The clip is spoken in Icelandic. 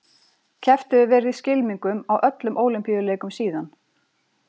Keppt hefur verið í skylmingum á öllum Ólympíuleikum síðan.